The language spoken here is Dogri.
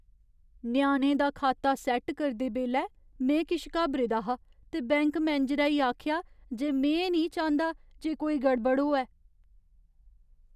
ञ्याणे दा खाता सैट्ट करदे बेल्लै में किश घाबरे दा हा ते बैंक मनेजरै ई आखेआ जे में निं चांह्दा जे कोई गड़बड़ होऐ।